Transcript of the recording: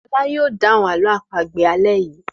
Fọlá yóò dáhùn àlọ́ àpagbè alẹ́ yìí.